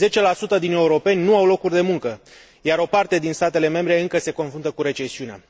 10 din europeni nu au locuri de muncă, iar o parte din statele membre încă se confruntă cu recesiunea.